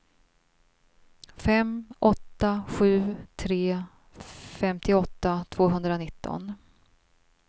fem åtta sju tre femtioåtta tvåhundranitton